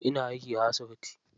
Ina aiki a asibiti.